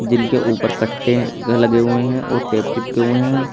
इनके ऊपर कट्टे लगे हुए हैं और टेप चिपके हुए हैं।